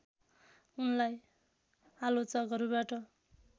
उनलाई आलोचकहरूबाट